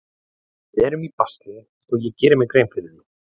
Við erum í basli og ég geri mér grein fyrir því.